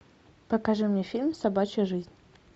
покажи мне фильм собачья жизнь